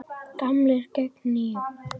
Gamlir gegn nýjum?